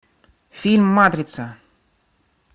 фильм матрица